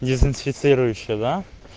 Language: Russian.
дезинфицирующее да